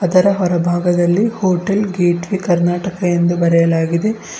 ಇದರ ಹೊರ ಭಾಗದಲ್ಲಿ ಹೋಟೆಲ್ ಗೇಟ್ ವೇ ಕರ್ನಾಟಕ ಎಂದು ಬರೆಯಲಾಗಿದೆ.